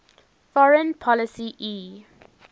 foreign policy e